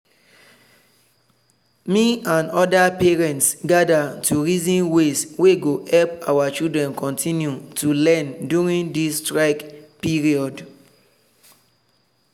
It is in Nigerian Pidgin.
me and other parents gather to reason ways wey go help our children continue to learn during this strike period.